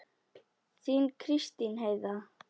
Þín Kristín Heiða.